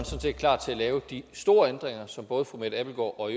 er klar til at lave de store ændringer som både fru mette abildgaard og